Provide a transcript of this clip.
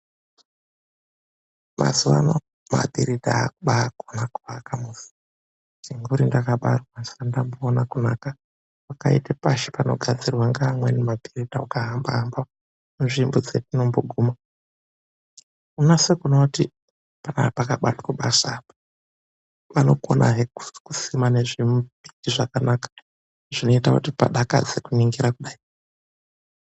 Mazuwa ano mabhiridha aakubaakona kuaka musi. Chinguri ndakabarwa andisati ndakamboona kunaka kwakaita pashi panogadzirwa ngeamweni mabhiridha, uka hamba-hamba munzvimbo dzetinomboguma. Unonase kuona kuti apa pakabatwe basa apa. Vanokonazve kusima nezvimimbiti zvakanaka, zvinoita kuti padakadze kuningira kudai.